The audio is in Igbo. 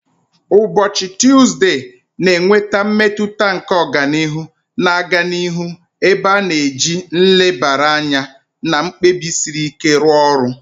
Ụbọchị Tuzdee na-eweta mmetụta nke ọganihu na-aga n'ihu, ebe a na-eji nlebara anya na mkpebi siri ike rụọ ọrụ